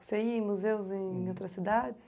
Você ia em museus em outras cidades?